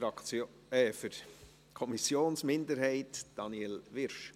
Für die Kommissionsminderheit, Daniel Wyrsch.